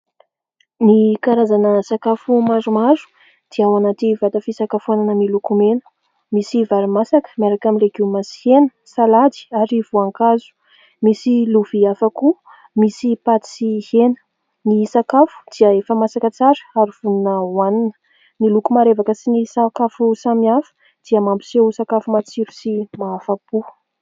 Ny karazana sakafo maromaro dia ao anaty vata fisakafoanana miloko mena. Misy vary masaka miaraka amin'ny legioma sy hena, salady ary voankazo. Misy lovia hafa koa misy paty sy hena. Ny sakafo dia efa masaka tsara ary vonona ho anina. Ny loko marevaka sy ny sakafo samihafa dia mampiseho sakafo matsiro sy mahafa-po.